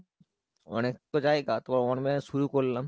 অনেক তো জায়গা তোমার শুরু করলাম।